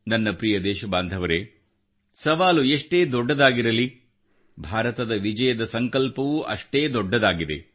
ನನ್ನ ಪ್ರಿಯ ದೇಶಬಾಂಧವರೆ ಸವಾಲು ಎಷ್ಟೇ ದೊಡ್ಡದಾಗಿರಲಿ ಭಾರತದ ವಿಜಯದ ಸಂಕಲ್ಪವೂ ಅಷ್ಟೇ ದೊಡ್ಡದಾಗಿದೆ